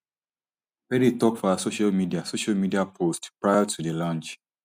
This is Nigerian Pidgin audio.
perry tok for her social media social media post prior to di launch